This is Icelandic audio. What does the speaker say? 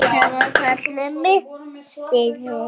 Þetta er það sem við köllum misskilning.